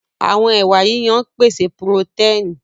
Àwọn ẹwà yíyan ń pèsè purotẹ́ẹ̀nì